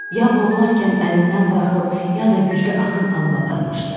Ya boğularkən əlindən buraxıb, ya da güclü axın alıb aparmışdı.